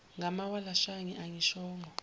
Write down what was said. ngamawala shange angishongo